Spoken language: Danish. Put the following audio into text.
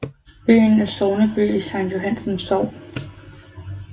Byen er sogneby i Sankt Johannes Sogn